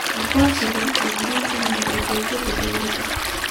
Aqoonsigu wuxuu muhiim u yahay adeegyada dawladda.